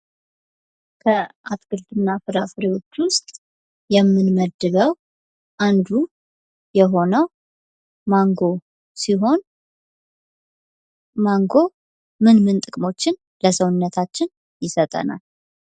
ከአትክልትና ፍራፍሬዎች መካከል አንዱ የሆነው ማንጎ ሲሆን ማንጎ ለሰውነታችን ምንምን ጥቅሞችን ይሰጠናል?